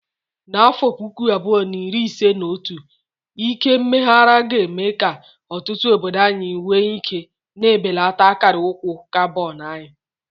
N'afọ puku abuo na iri ise na otu, ike mmeghari ga-eme ka ọtụtụ obodo anyị nwee ike, na-ebelata akara ụkwụ carbon anyị.